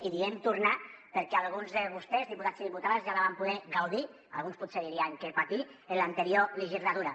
i diem tornar perquè alguns de vostès diputats i diputades ja la van poder gaudir alguns potser dirien que patir en l’anterior legislatura